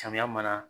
Samiya mana